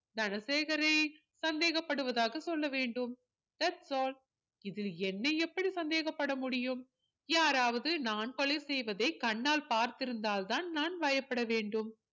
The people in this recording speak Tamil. தனசேகரை சந்தேகப்படுவதாக சொல்ல வேண்டும் thats all இதில் என்னை எப்படி சந்தேகப்பட முடியும் யாராவது நான் கொலை செய்வதை கண்ணால் பார்த்திருந்தால் தான் நான் பயப்பட வேண்டும்